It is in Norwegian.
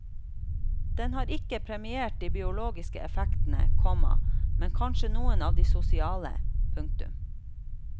Den har ikke premiert de biologiske effektene, komma men kanskje noen av de sosiale. punktum